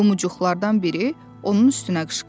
Lumuçuqlardan biri onun üstünə qışqırdı.